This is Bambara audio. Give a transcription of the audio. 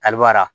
Ali b'ara